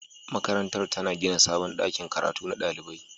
Makarantar tana gina sabon ɗakin karatu na ɗalibai.